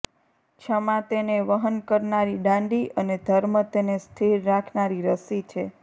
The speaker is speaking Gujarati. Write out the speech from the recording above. ક્ષમા તેને વહન કરનારી ડાંડી અને ધર્મ તેને સ્થિર રાખનારી રસ્સી છે